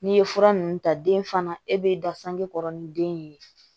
N'i ye fura ninnu ta den fana e bɛ da sange kɔrɔ ni den ye